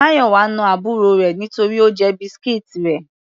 Mayowa na àbúrò rẹ̀ nítorí Ó jẹ biscuits rẹ̀.